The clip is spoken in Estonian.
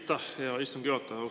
Aitäh, hea istungi juhataja!